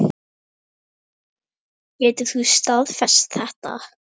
Getur þú staðfest þetta?